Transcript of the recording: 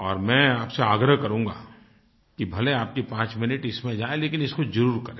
और मैं आपसे आग्रह करूँगा कि भले आपके पाँच मिनट इसमें जाएँ लेकिन इसको ज़रूर करें